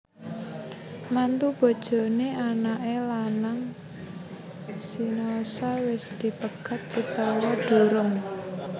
Mantu bojoné anaké lanang sinaosa wis dipegat utawa durung